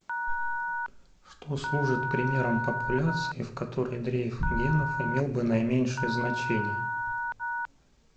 что служит примером популяции в которой дрейф генов имел бы наименьшее значение